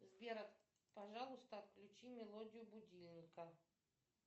сбер пожалуйста отключи мелодию будильника